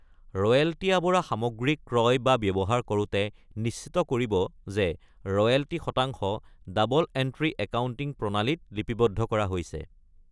ৰয়েলটি-আৱৰা সামগ্ৰী ক্ৰয় বা ব্যৱহাৰ কৰোঁতে, নিশ্চিত কৰিব যে ৰয়েলটি শতাংশ ডাবল-এণ্ট্ৰি একাউণ্টিং প্ৰণালীত লিপিবদ্ধ কৰা হৈছে।